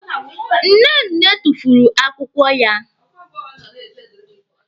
Nnenne tufuru akwụkwọ ya.